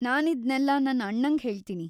ನಾನಿದ್ನೆಲ್ಲ ನನ್ ಅಣ್ಣಂಗ್ ಹೇಳ್ತೀನಿ.